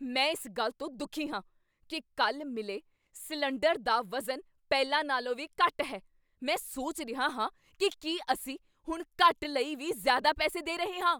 ਮੈਂ ਇਸ ਗੱਲ ਤੋਂ ਦੁਖੀ ਹਾਂ ਕੀ ਕੱਲ੍ਹ ਮਿਲੇ ਸਿਲੰਡਰ ਦਾ ਵਜ਼ਨ ਪਹਿਲਾਂ ਨਾਲੋਂ ਵੀ ਘੱਟ ਹੈ। ਮੈਂ ਸੋਚ ਰਿਹਾ ਹਾਂ ਕੀ ਕੀ ਅਸੀਂ ਹੁਣ ਘੱਟ ਲਈ ਵੀ ਜ਼ਿਆਦਾ ਪੈਸੇ ਦੇ ਰਹੇ ਹਾਂ।